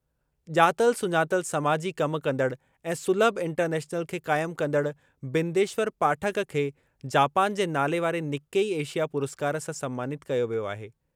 ॼातल सुञातल समाजी कम कंदड़ ऐं सुलभ इंटरनेशनल खे क़ाइम कंदड़ बिंदेश्वर पाठक खे जापान जे नालेवारे निक्केई एशिया पुरस्कार सां सन्मानितु कयो वियो आहे।